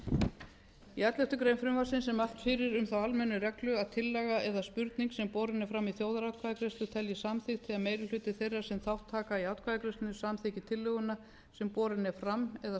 stjórnartíðinda í elleftu greinar frumvarpsins er mælt fyrir um þá almennu reglu að tillaga eða spurning sem borin er fram í þjóðaratkvæðagreiðslu teljist samþykkt ef meiri hluti þeirra sem þátt taka í atkvæðagreiðslunni samþykki tillöguna sem borin er fram eða svarar spurningu